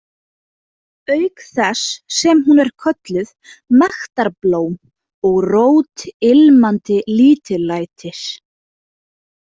, auk þess sem hún er kölluð „mektarblóm“ og „rót ilmandi lítillætis“.